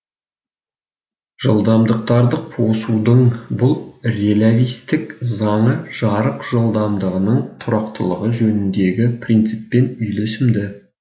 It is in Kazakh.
жылдамдықтарды қосудың бұл релявистік заңы жарық жылдамдығының тұрақтылығы жөніндегі принциппен үйлесімді